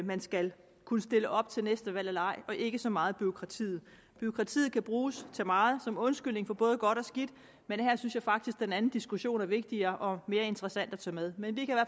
man skal kunne stille op til næste valg eller ej og ikke så meget bureaukratiet bureaukratiet kan bruges til meget som undskyldning for både godt og skidt men her synes jeg faktisk den anden diskussion er vigtigere og mere interessant at tage med men vi